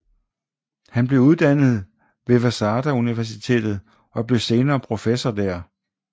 Han blev uddannet ved Waseda Universitetet og blev senere professor der